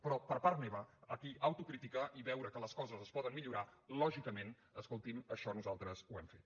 però per part meva aquí autocrítica i veure que les coses es poden millorar lògicament escolti’m això nosaltres ho hem fet